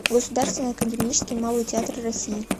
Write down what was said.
государственный академический малый театр россии